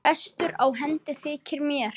Bestur á hendi þykir mér.